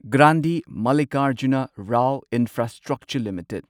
Grandhi Mallikarjuna Rao infrastructure limited